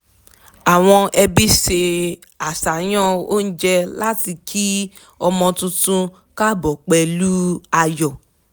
a péjọ nílé láti ṣe ayẹyẹ ìdésáyé ọmọ tuntun papọ̀